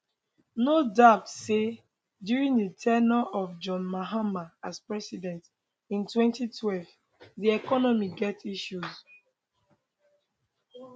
no doubt say during di ten ure of john mahama as president in 2012 di economy get issues